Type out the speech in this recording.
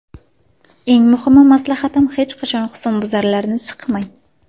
Eng muhim maslahatim hech qachon husnbuzarlarni siqmang!